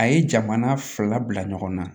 A ye jamana fila bila ɲɔgɔn na